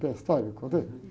Contei a história, não contei?